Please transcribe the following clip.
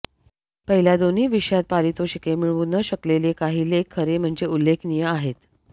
पहिल्या दोन्ही विषयांत पारितोषिके मिळवू न शकलेले काही लेख खरे म्हणजे उल्लेखनीय आहेत